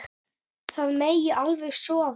Það megi alveg sofa.